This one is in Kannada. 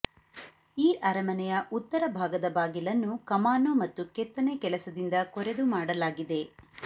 ಈ ಅರಮನೆಯ ಉತ್ತರ ಭಾಗದ ಬಾಗಿಲನ್ನು ಕಮಾನು ಮತ್ತು ಕೆತ್ತನೆ ಕೆಲಸದಿಂದ ಕೊರೆದು ಮಾಡಲಾಗಿದೆ